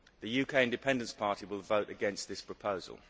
The UK Independence Party will vote against this proposal.